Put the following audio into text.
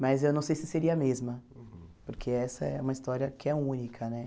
Mas eu não sei se seria a mesma, porque essa é uma história que é única, né?